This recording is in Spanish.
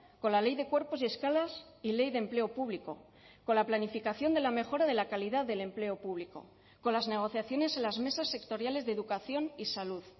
con la ley de cuerpos y escalas y ley de empleo público con la planificación de la mejora de la calidad del empleo público con las negociaciones en las mesas sectoriales de educación y salud